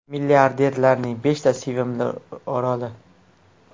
Milliarderlarning beshta sevimli oroli .